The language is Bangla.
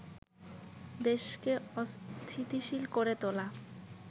দেশকে অস্থিতিশীল করে তোলা